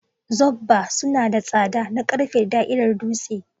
Zobba suna da tsada na ƙarfe da da'irar dutse.